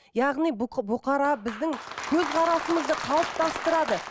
яғни бұқара біздің көзқарасымызды қалыптастырады